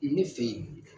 Ne fe yen